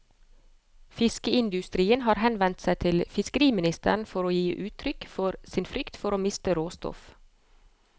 Fiskeindustrien har henvendt seg til fiskeriministeren for å gi uttrykk for sin frykt for å miste råstoff.